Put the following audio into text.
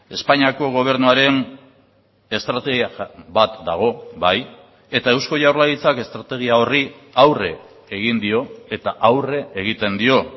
espainiako gobernuaren estrategia bat dago bai eta eusko jaurlaritzak estrategia horri aurre egin dio eta aurre egiten dio